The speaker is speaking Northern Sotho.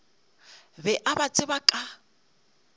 be a ba tseba ka